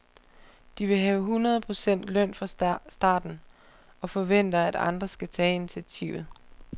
De vil have hundrede procent løn fra starten, og forventer at andre skal tage initiativet.